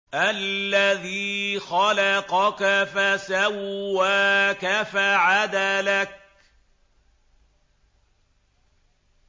الَّذِي خَلَقَكَ فَسَوَّاكَ فَعَدَلَكَ